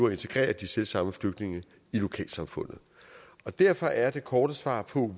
at integrere de selvsamme flygtninge i lokalsamfundet derfor er det korte svar på